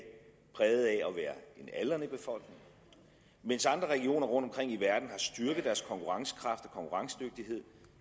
præget af at være en aldrende befolkning mens andre regioner rundtomkring i verden har styrket deres konkurrencekraft og konkurrencedygtighed